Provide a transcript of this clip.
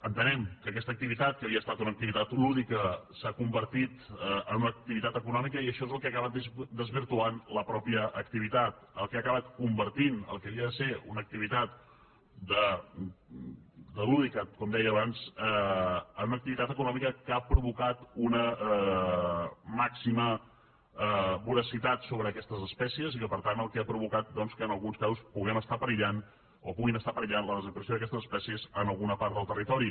entenem que aquesta activitat que havia estat una activitat lúdica s’ha convertit en una activitat econòmica i això és el que ha acabat desvirtuant la mateixa activitat el que ha acabat convertint el que havia de ser una activitat lúdica com deia abans en una activitat econòmica que ha provocat una màxima voracitat sobre aquestes espècies i que per tant el que ha provocat doncs que en alguns casos puguem estar perillant o pugui estar perillant la desaparició d’aquestes espècies en alguna part del territori